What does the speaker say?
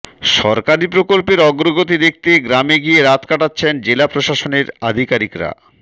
সরকারি প্রকল্পের অগ্রগতি দেখতে গ্রামে গিয়ে রাত কাটাচ্ছেন জেলা প্রশাসনের আধিকারিকরা